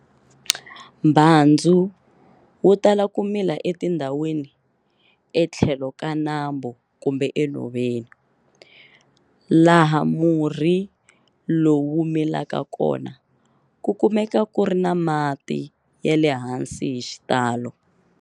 Mbhandzu wu tala ku mila etindhawini etlhelo ka nambu kumbe enhoveni. Laha murhi lowu wu milaka kona ku kumeka ku ri na mati ya le hansi hi xitalo.